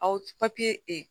Aw papye e